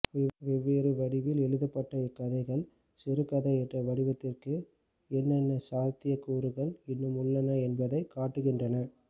வெவ்வேறு வடிவில் எழுதப்பட்ட இந்தக்கதைகள் சிறுகதை என்ற வடிவத்திற்கு என்னென்ன சாத்தியக்கூறுகள் இன்னும் உள்ளன என்பதைக் காட்டுகின்றன